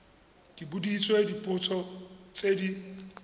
ke boditswe dipotso tse di